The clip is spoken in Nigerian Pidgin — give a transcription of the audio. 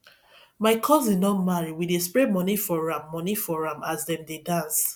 my cousin don marry we dey spray money for am money for am as dem dey dance